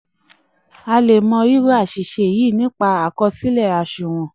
a lè mọ irú aṣìṣe yìí nípasẹ̀ àkọsílẹ aṣunwon. um